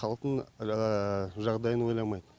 халықтың жағдайын ойламайды